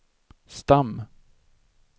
stam